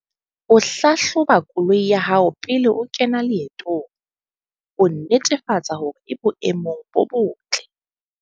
O hlahloba koloi ya hao pele o kena leetong, ho netefatsa hore e boemong bo botle.